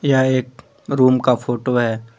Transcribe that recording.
यह एक रूम का फोटो है।